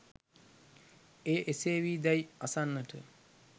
එය එසේ වී දැයි අසන්නට